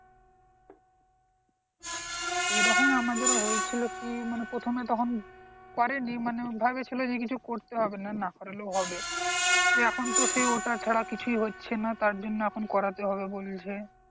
এরকম আমাদেরও হয়েছিল কি মানে প্রথমে তখন করেনি ভেবেছিলো যে কিছু করতে হবেনা না করলেও হবে অক্ষপণ তো সেই ওটা ছাড়া কিছুই হচ্ছেনা তার জন্য এখন করতে হবে বলছে